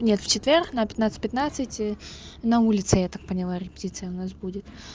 нет в четверг на пятнадцать пятнадцать и на улице я так поняла репетиция у нас будет